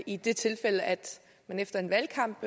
i det tilfælde at man efter en valgkamp